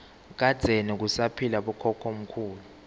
kadzeni kusaphila bokhokho mkhulu